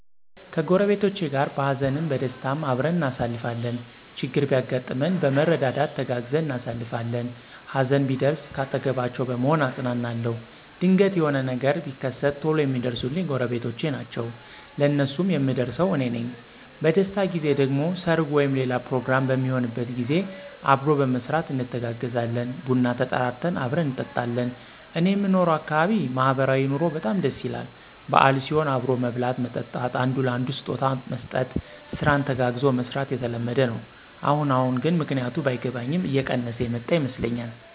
ከጎረቤቶቸ ጋር በሃዘንም በደስታም አብረን እናሳልፋለን። ችግር ቢያጋጥመን በመረዳዳት ተጋግዘን እናሳልፋለን። ሀዘን ቢደርስ ካጠገባቸዉ በመሆን አጵናናለዉ። ድንገት የሆነ ነገር ቢከት ቶሎ የሚደርሱልኝ ጎረቤቶቸ ናቸዉ። ለነሱም የምደርሰው አኔ ነኝ። በደስታ ጊዜ ደግሞ ሰርግ ወይም ሌላ ፕሮግራም በሚሆንበት ጊዜ አብሮ በመስራት እንተጋገዛለን። ቡና ተጠራርተን አብረን እንጠጣለን። እኔየምኖርበት አካባቢ ማህበራዊ ኑሮዉ በጣም ደስ ይላል። በአል ሲሆን አብሮ መብላት መጠጣት፣ አንዱ ለአንዱ ስጦታ መስጠት፣ ስራን ተጋግዞ መስራት የተለመደ ነዉ። አሁን አሁን ግን ምክንያቱ ባይገባኝም እየቀነሰ የመጣ ይመስለኛል።